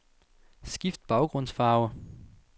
Skift baggrundsfarve.